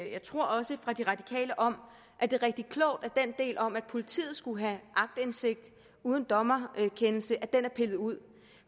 jeg tror også fra de radikale om at det er rigtig klogt at den del om at politiet skulle have aktindsigt uden dommerkendelse er pillet ud